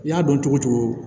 I y'a dɔn cogo cogo